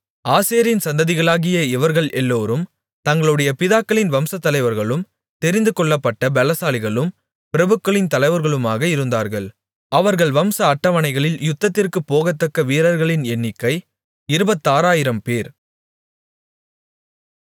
ஆசேரின் சந்ததிகளாகிய இவர்கள் எல்லோரும் தங்களுடைய பிதாக்களின் வம்சத்தலைவர்களும் தெரிந்துகொள்ளப்பட்ட பெலசாலிகளும் பிரபுக்களின் தலைவர்களுமாக இருந்தார்கள் அவர்கள் வம்ச அட்டவணைகளில் யுத்தத்திற்குப் போகத்தக்க வீரர்களின் எண்ணிக்கை இருபத்தாறாயிரம்பேர்